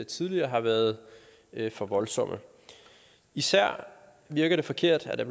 tidligere har været for voldsomme især virker det forkert at der